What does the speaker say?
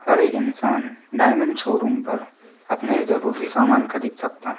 हर एक इंसान diamond showroom पर अपने जरूरी सामान खरीद सकता--